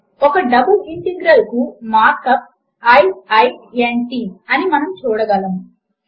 ఒక double integral కు mark up i i n t అని మనము చూడగలుగుతాము